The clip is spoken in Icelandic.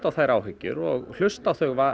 á þær áhyggjur og hlusta á þau